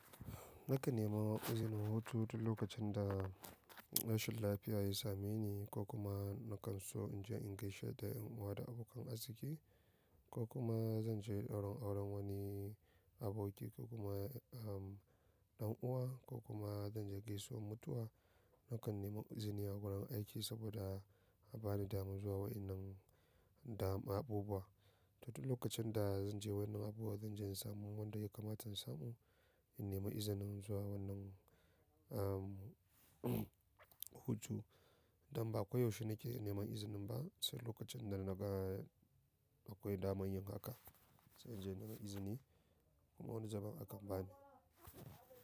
Nakan nema izinin hutu duk lokacin da rashin lafiya ya same ni ko kuma nakan so inje in gaishe da yan uwa da abokan arziki, ko kuma zanje dauren auren wani aboki ko kuma, um, dan uwa ko kuma zanje gaisuwan mutuwa. Nakan nema izini a wurin aiki saboda a bani daman zuwa wannan daman abubuwa. Duk lokacin da zanje wannan abubuwa zanje in samu wanda ya kamata in samu in nema izinin zuwa wannan, um, hutu. Dan ba ko yaushe nake neman izinin ba sai lokacin da naga akwai daman yin haka, sai inje in nema izini kuma wani zubin akan bani.